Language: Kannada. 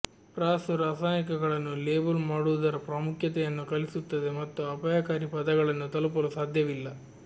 ಪ್ರಾಸು ರಾಸಾಯನಿಕಗಳನ್ನು ಲೇಬಲ್ ಮಾಡುವುದರ ಪ್ರಾಮುಖ್ಯತೆಯನ್ನು ಕಲಿಸುತ್ತದೆ ಮತ್ತು ಅಪಾಯಕಾರಿ ಪದಗಳನ್ನು ತಲುಪಲು ಸಾಧ್ಯವಿಲ್ಲ